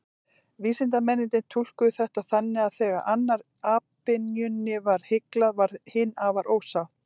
Vísindamennirnir túlkuðu þetta þannig að þegar annarri apynjunni var hyglað, varð hin afar ósátt.